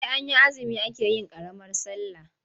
Sai an yi azumi ake yin ƙaramar sallah.